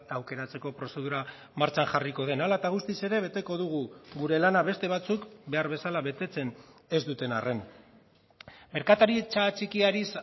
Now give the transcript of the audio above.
aukeratzeko prozedura martxan jarriko den hala eta guztiz ere beteko dugu gure lana beste batzuk behar bezala betetzen ez duten arren merkataritza txikiari